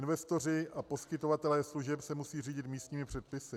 Investoři a poskytovatelé služeb se musí řídit místními předpisy.